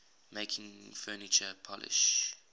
making furniture polish